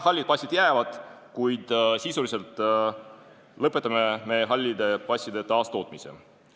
Hallid passid jäävad, kuid sisuliselt me lõpetame hallide passide taastootmise.